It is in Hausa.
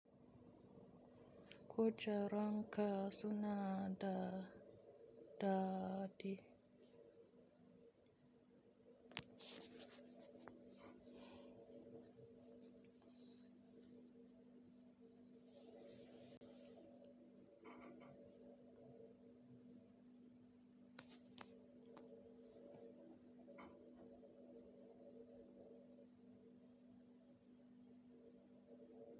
Ko jaranka suna da dadi.